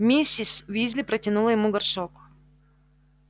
миссис уизли протянула ему горшок